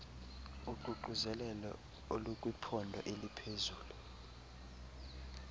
uququzelelo olukwiqondo eliphezulu